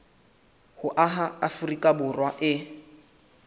ho aha afrika borwa e